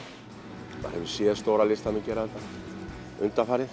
maður hefur séð stóra listamenn gera þetta undanfarið